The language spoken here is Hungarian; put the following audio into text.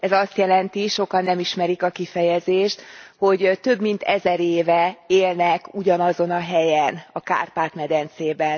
Ez azt jelenti sokan nem ismerik a kifejezést hogy több mint ezer éve élnek ugyanazon a helyen a Kárpát medencében.